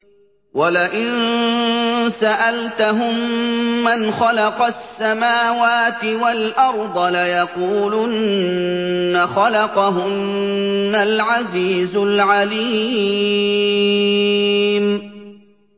وَلَئِن سَأَلْتَهُم مَّنْ خَلَقَ السَّمَاوَاتِ وَالْأَرْضَ لَيَقُولُنَّ خَلَقَهُنَّ الْعَزِيزُ الْعَلِيمُ